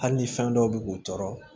Hali ni fɛn dɔw bi k'u tɔɔrɔ